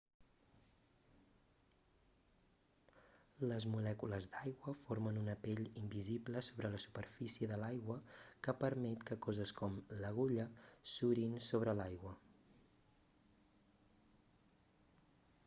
les molècules d'aigua formen una pell invisible sobre la superfície de l'aigua que permet que coses com l'agulla surin sobre l'aigua